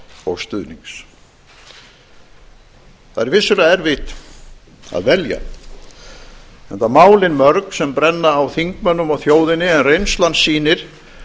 og stuðnings það er vissulega erfitt að velja enda málin mörg sem brenna á þingmönnum og þjóðinni en reynslan sýnir